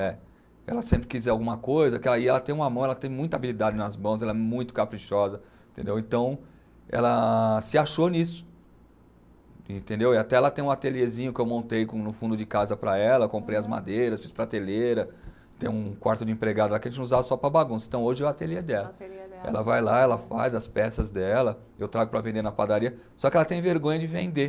É. Ela sempre quis ver alguma coisa que aí ela tem uma mão, ela tem muita habilidade nas mãos, ela é muito caprichosa, entendeu, então ela se achou nisso, entendeu. E até ela tem um ateliezinho que eu montei com no fundo de casa para ela, comprei as madeiras, fiz prateleira. Tem um quarto de empregada lá que a gente usava só para bagunça, então hoje é o ateliê dela. O ateliê dela. Ela vai lá, ela faz as peças dela, eu trago para vender na padaria, só que ela tem vergonha de vender